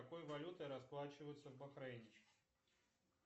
какой валютой расплачиваются в бахрейне